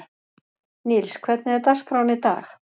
Níls, hvernig er dagskráin í dag?